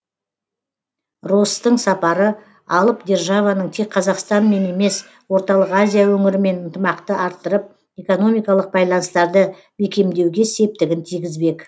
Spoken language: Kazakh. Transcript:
росстың сапары алып державаның тек қазақстанмен емес орталық азия өңірімен ынтымақты арттырып экономикалық байланыстарды бекемдеуге септігін тигізбек